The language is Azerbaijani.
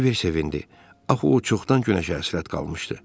Kiber sevindi, axı o çoxdan günəşə həsrət qalmışdı.